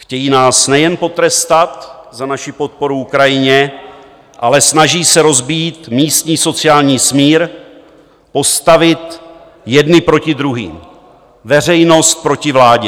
Chtějí nás nejen potrestat za naši podporu Ukrajině, ale snaží se rozbít místní sociální smír, postavit jedny proti druhým, veřejnost proti vládě.